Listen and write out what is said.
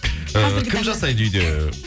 ііі кім жасайды үйде